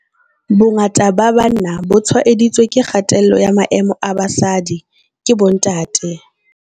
Bongata ba banna bo tshwaeditswe ke kgatello ya maemo a basadi ke bontate.